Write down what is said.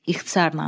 İxtisaran.